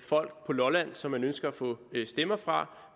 folk på lolland som man ønsker at få stemmer fra